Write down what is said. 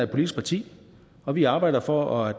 politisk parti og vi arbejder for at